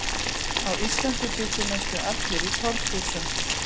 Á Íslandi bjuggu næstum allir í torfhúsum.